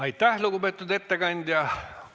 Aitäh, lugupeetud ettekandja!